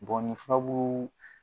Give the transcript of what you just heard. ni furabulu